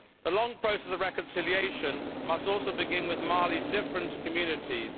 The long process of reconciliation must also begin with Mali's different communities.